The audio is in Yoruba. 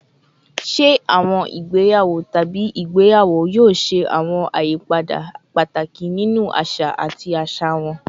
Ṣe awọn igbeyawo tabi igbeyawo yoo ṣe awọn ayipada pataki ninu aṣa ati aṣa wọn?